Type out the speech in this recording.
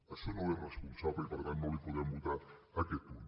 això no és responsable i per tant no li podem votar aquest punt